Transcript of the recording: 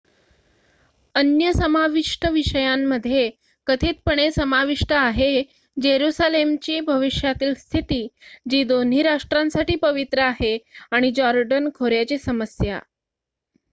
अन्य समावष्ट विषयांमध्ये कथितपणे समाविष्ट आहे जेरुसालेमची भविष्यातील स्थिती जी दोन्ही राष्ट्रांसाठी पवित्र आहे आणि जॉर्डन खोऱ्याची समस्या